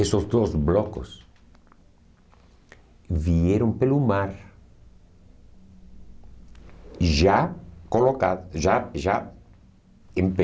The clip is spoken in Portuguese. Esses dois blocos vieram pelo mar, já colocados, já já em pé.